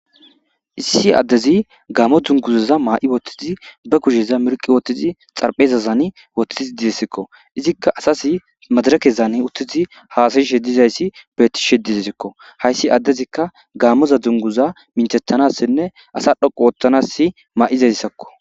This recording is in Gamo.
issi addezi gaamo dunguzaza maa7i bottizi ba kusheza mirqi wotizi xarphezazani wotiizi dizessikko izikka asas madara kezan uttizi haasayishe dizayssi bettishe dizessikko hayssi addezikka gaamoza dunguza minchetanassinne asa dhoqu woottanass maa7izayssakko